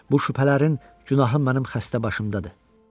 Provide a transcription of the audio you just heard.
Bu şübhələrin günahı mənim xəstə başımdadır.